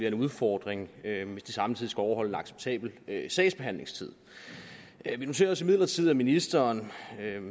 en udfordring hvis de samtidig skal overholde en acceptabel sagsbehandlingstid vi noterede os imidlertid at ministeren